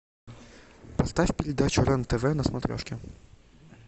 поставь передачу рен тв на смотрешке